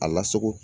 A lasago